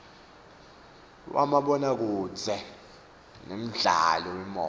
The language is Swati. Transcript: wamabonakudze nemdlalo wemoya